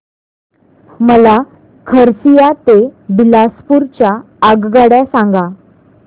मला खरसिया ते बिलासपुर च्या आगगाड्या सांगा